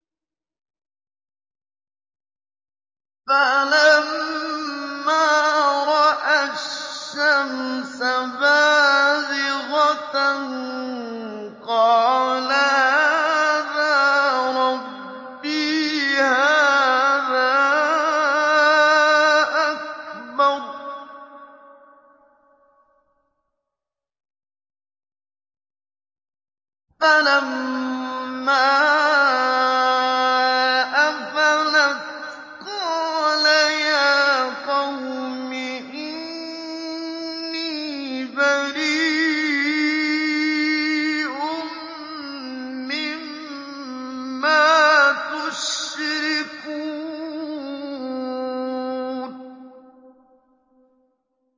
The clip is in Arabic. فَلَمَّا رَأَى الشَّمْسَ بَازِغَةً قَالَ هَٰذَا رَبِّي هَٰذَا أَكْبَرُ ۖ فَلَمَّا أَفَلَتْ قَالَ يَا قَوْمِ إِنِّي بَرِيءٌ مِّمَّا تُشْرِكُونَ